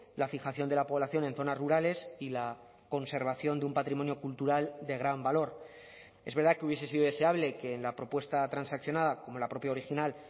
la fijación de la población en zonas rurales y la conservación de un patrimonio cultural de gran valor es verdad que hubiese sido deseable que en la propuesta transaccionada como la propia original